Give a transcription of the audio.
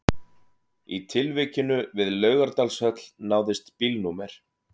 Í tilvikinu við Laugardalshöll náðist bílnúmer